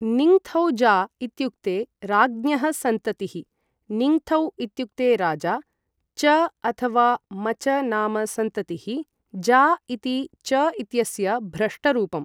निङ्थौजा इत्युक्ते राज्ञः सन्ततिः, निङ्थौ इत्युक्ते राजा, च अथ वा मच नाम सन्ततिः, जा इति च इत्यस्य भ्रष्टरूपम्।